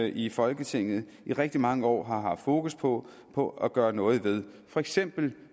i folketinget i rigtig mange år har haft fokus på på at gøre noget ved for eksempel